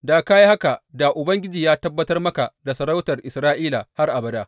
Da ka yi haka da Ubangiji ya tabbatar maka da sarautar Isra’ila har abada.